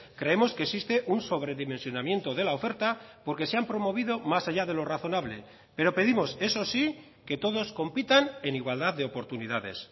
creemos que existe un sobredimensionamiento de la oferta porque se han promovido más allá de lo razonable pero pedimos eso sí que todos compitan en igualdad de oportunidades